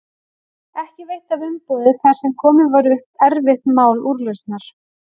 Ekki veitti af umboði þar sem komið var upp erfitt mál úrlausnar.